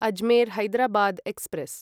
Ajmer Hyderabad express